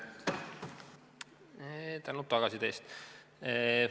Suur tänu tagasiside eest!